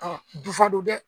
dufa don dɛ